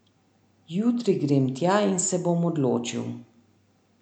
Jutri grem tja in se bom odločil.